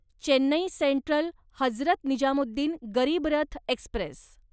Chennai Central Hazrat Nizamuddin Garib Rath Express